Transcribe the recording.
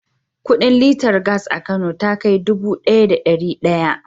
Kudin liter gas a Kano ta kai dubu ɗaya da ɗari ɗaya.